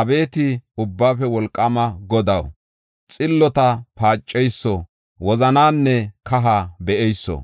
Abeeti Ubbaafe Wolqaama Godaw, xillota paaceyso, wozananne kaha be7eyso,